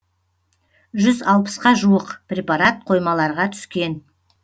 жүз алпысқа жуық препарат қоймаларға түскен